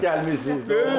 Siz də xoş gəlmisiniz.